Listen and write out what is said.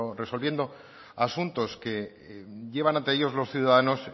resolviendo asuntos que llevan ante ellos los ciudadanos